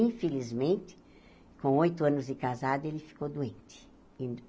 Infelizmente, com oito anos de casado, ele ficou doente.